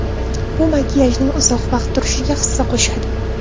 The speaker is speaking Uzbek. Bu makiyajning uzoq vaqt turishiga hissa qo‘shadi.